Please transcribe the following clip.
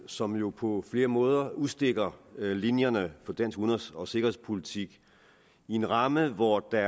som jo på flere måder udstikker linjerne for dansk udenrigs og sikkerhedspolitik i en ramme hvor der